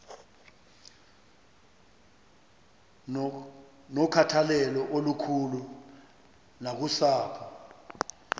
nokhathalelo olukhulu nakusapho